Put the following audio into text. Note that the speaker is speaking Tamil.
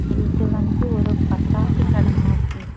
இது வந்து ஒரு பட்டாசு கடை மாதிரி--